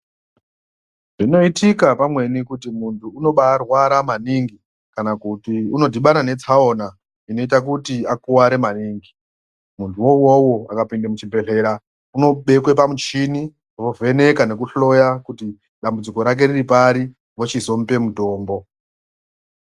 Zvinoitika pamweni kuti muntu unobaarwara maningi, kana kuti unodhibabna netsaona inoita kuti akuware maningi, munhuwo uwowo akapinde muchibhedhlera, unobekwa pamuchini, vovheneka nekuhloya ,kuti dambudziko rake riri pari, vochizomupe mutombo.